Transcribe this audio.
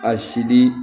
A sidi